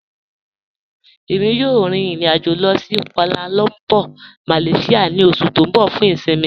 Ẹ̀mi yóò rín ìrìn-àjọ̀ lọ sí Kuala Lumpur, Malaysia ni oṣù tí n bọ̀ fún ìṣinmí.